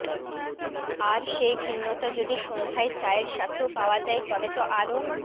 আর সেই ভিন্নতা যদি সন্ধ্যায় চায়ের সাথেও পাওয়া যায় তবে তো আরও